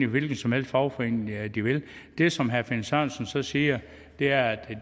hvilken som helst fagforening de vil det som herre finn sørensen så siger er at